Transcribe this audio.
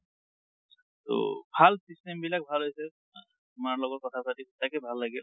ট ভাল systemবিলাক ভাল হৈছে। তোমাৰ লগত কথা পাতি সচাকে ভাল লাগিল।